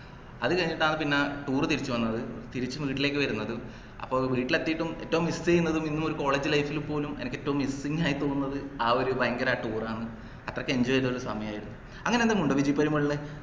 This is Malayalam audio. അത് കഴിഞ്ഞിട്ടാണ് പിന്നെ tour തിരിച്ച് വന്നത് തിരിച്ച് വീട്ടിലേക്ക് വരുന്നത് അപ്പൊ വീട്ടീലെത്തീട്ടും ഏറ്റവും miss ചെയ്യുന്നത് ഇന്നും college life ൽ പോലും എനിക്ക് ഏറ്റവും missing ആയി തോന്നുന്നത് ആ ഒരു ഭയങ്കര tour ആണ് അത്രക്ക് enjoy ചെയ്തൊരു സമയയായിരുന്നു അങ്ങനെ എന്തെങ്കിലും ഉണ്ടോ വിജി പെരുമാളിനു